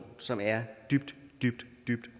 som er dybt dybt